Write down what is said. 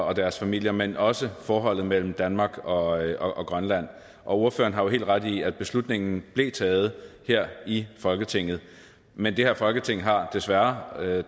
og deres familier men også forholdet mellem danmark og grønland ordføreren har jo helt ret i at beslutningen blev taget her i folketinget men det her folketing har desværre